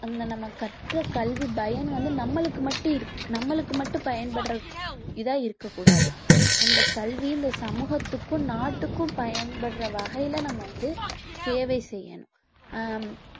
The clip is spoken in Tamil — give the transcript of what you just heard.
அந்த நம்ம கற்ற கல்வி பயன் வந்து நம்மளுக்கு மட்டும் இருக்~ நம்மளுக்கு மட்டும் பயன்படர இதா இருக்க கூடாது அந்த கல்வி இந்த சமூகத்துக்கு நாட்டுக்கும் பயன்படற வகையில நம்ம வந்து சேவை செய்யணும்